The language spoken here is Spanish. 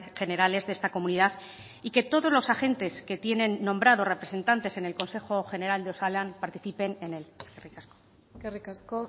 generales de esta comunidad y que todos los agentes que tienen nombrados representantes en el consejo general de osalan participen en él eskerrik asko eskerrik asko